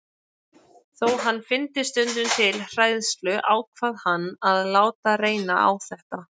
Þó hann fyndi stundum til hræðslu ákvað hann að láta reyna á þetta.